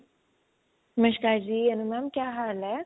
ਨਮਸ਼ਕਾਰ ਜੀ ਅਨੁ mam ਕਿਆ ਹਾਲ ਏ